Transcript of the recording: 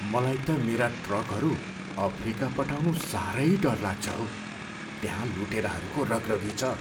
मलाई त मेरा ट्रकहरू अफ्रिका पठाउनु साह्रै डर लाग्छ हौ। त्यहाँ लुटेराहरूको रगरगी छ!